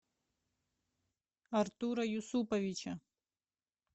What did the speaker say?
артура юсуповича